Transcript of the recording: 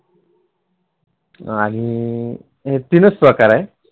आणि तीनच प्रकार आहे